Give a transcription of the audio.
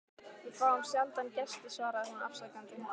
Við fáum sjaldan gesti svaraði hún afsakandi.